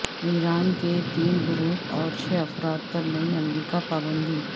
ایران کے تین گروپوں اور چھ افراد پر نئی امریکہ پابندی